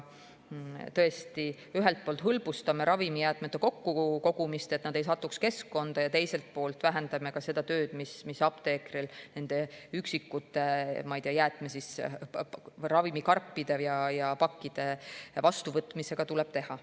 Tõesti, ühelt poolt hõlbustame ravimijäätmete kokkukogumist, et need ei satuks keskkonda, ja teiselt poolt vähendame ka seda tööd, mis apteekril nende üksikute ravimikarpide ja ‑pakkide vastuvõtmisel tuleb teha.